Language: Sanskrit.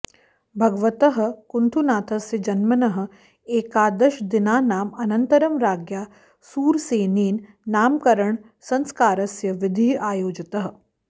भगवतः कुन्थुनाथस्य जन्मनः एकादशदिनानाम् अनन्तरं राज्ञा सूरसेनेन नामकरणसंस्कारस्य विधिः आयोजितः